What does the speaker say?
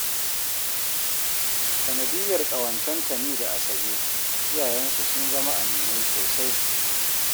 Sanadiyyar ƙawancen Tani da Asabe, iyayensu sun zama aminai sosai